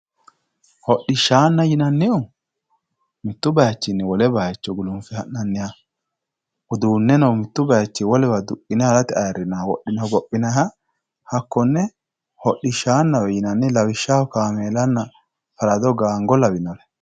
hodhishshaanna yinannihu mittu bayiichinni wole bayiicho gulunfe ha'nanniha uduunneno mittu bayiichinni wolewa duqqine harate ayiirrinoha wodhine hogophinayiiha hakkonne hodhishshanna yinanni lawishshaho kaameelanna farado gaango lawinre.